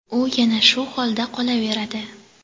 u yana shu holda qolaveradi.